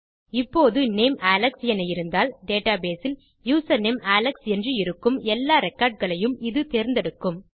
இப்போது name Alex என இருந்தால் டேட்டாபேஸ் இல் யூசர்நேம் அலெக்ஸ் என்று இருக்கும் எல்லா ரெக்கார்ட் களையும் இது தேர்ந்தெடுக்கும்